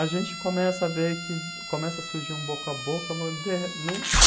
a gente começa a ver que começa a surgir um boca a boca num